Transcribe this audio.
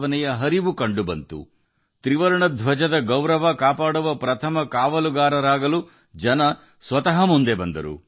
ಜನರು ಸ್ವತಃ ಮುಂದೆ ಬಂದರು ತ್ರಿವರ್ಣದ ಹೆಮ್ಮೆಯ ಜೊತೆ ಮುಂಚೂಣಿಯಲ್ಲಿದ್ದರು